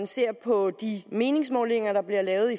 ser på de meningsmålinger der bliver lavet